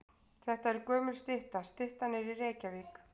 Þetta er gömul stytta. Styttan er í Reykjavík.